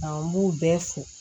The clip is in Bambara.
n b'u bɛɛ fo